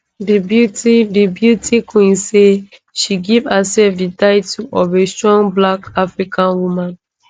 di beauty di beauty queen say she give hersef di title of a strong black african woman